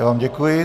Já vám děkuji.